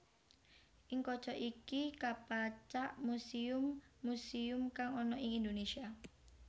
Ing kaca iki kapacak muséum muséum kang ana ing Indonesia